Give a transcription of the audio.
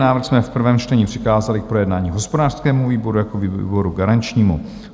Návrh jsme v prvém čtení přikázali k projednání hospodářskému výboru jako výboru garančnímu.